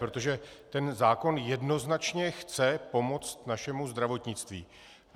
Protože tento zákon jednoznačně chce pomoct našemu zdravotnictví.